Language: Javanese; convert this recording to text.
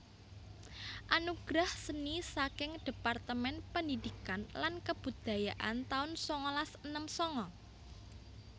Anugerah Seni saking Departemen Pendidikan lan Kebudayaan taun sangalas enem sanga